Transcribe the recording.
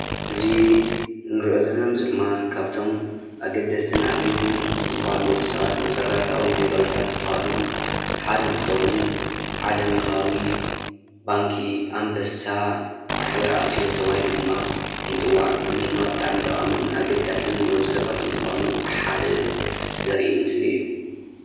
እዚ ንሪኦ ዘለና ምስሊ ድማ ካብቶም ኣገደስትን ኣድለዪትን ዝበሃሉ ንወዲ ሰባት መሰረታዊ ግልጋሎታት ዝበሃሉ ሓደ እንትኸውን ዓለምለኻዊ ባንኪ ኣንበሳ ማሕበር ኣክሲዮን ተባሂሉ ድማ ይፅዋዕ፡፡ እዚ ድማ ብጣዕሚ ጠቓምን ንወዲ ሰብ ካብቶም ዝበሃሉ ሓደ ዘርኢ ምስሊ እዩ፡፡